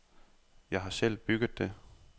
Jeg har selv bygget det.